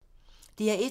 DR1